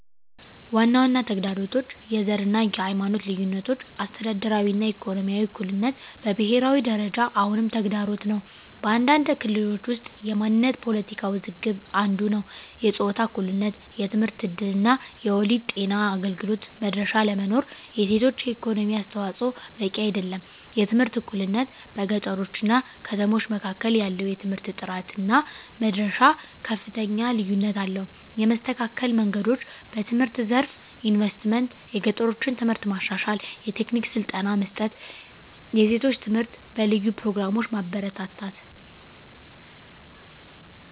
ዋና ዋና ተግዳሮቶች፦ # የዘር እና የሃይማኖት ልዩነቶች - አስተዳደራዊ እና ኢኮኖሚያዊ እኩልነት በብሄራዊ ደረጃ አሁንም ተግዳሮት ነው። በአንዳንድ ክልሎች ውስጥ የማንነት ፖለቲካ ውዝግብ አንዱ ነዉ። #የጾታ እኩልነት የትምህርት እድል እና የወሊድ ጤና አገልግሎት መድረሻ አለመኖር። የሴቶች የኢኮኖሚ አስተዋፅዖ በቂ አይደለም። #የትምህርት እኩልነት - በገጠሮች እና ከተሞች መካከል ያለው የትምህርት ጥራት እና መድረሻ ከፍተኛ ልዩነት አለው። የመስተካከል መንገዶች፦ #በትምህርት ዘርፍ ኢንቨስትመንት - የገጠሮችን ትምህርት ማሻሻል፣ የቴክኒክ ስልጠና መስጠት፣ የሴቶች ትምህርት በልዩ ፕሮግራሞች ማበረታታት።